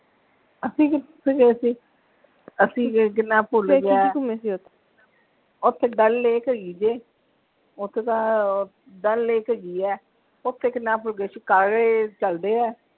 ਅਸੀਂ ਕਿਥੇ ਗਏ ਸੀ ਅਸੀਂ ਗਏ ਕੀ ਨਾ ਭੁੱਲ ਗਿਆ ਆ ਓਥੇ ਡੱਲ ਲੇਕ ਹੈਗੀ ਜੇ ਓਥੇ ਤਾਂ ਡੱਲ ਲੇਕ ਹੈਗੀ ਹੈ ਓਥੇ ਕੀ ਨਾ ਭੁੱਲ ਗਿਆ ਸ਼ਿਕਾਰੇ ਚਲਦੇ ਆ,